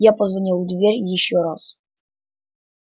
я позвонил в дверь ещё раз